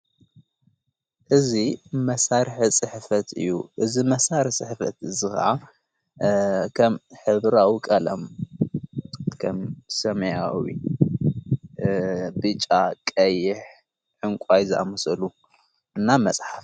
እዚ መሣርሒ ጽሕፈት እዩ። እዚ መሣርሒ ፅሕፈት እዚ ከዓ ከም ሕብራዊ ቐለም ከም ሰማያዊ ፣ ብጫ ፣ቀይሕ ፣ዕንቋይ ዛኣምሰሉ እና መጽሓፍ፡